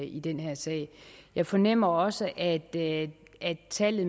i den her sag jeg fornemmer også at at tallet